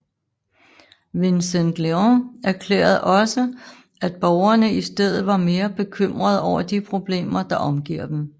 Vicente Leon erklærede også at borgerne i stedet var mere bekymrede over de problemer der omgiver dem